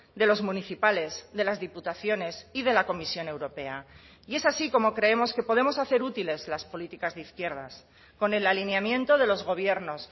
de los municipales de las diputaciones y de la comisión europea y es así como creemos que podemos hacer útiles las políticas de izquierdas con el alineamiento de los gobiernos